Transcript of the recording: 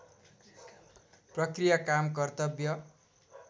प्रक्रिया काम कर्तव्य